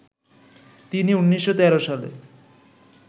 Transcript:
তিনি ১৯১৩ সালে